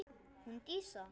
Hún Dísa?